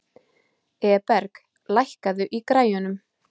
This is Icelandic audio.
Eberg, lækkaðu í græjunum.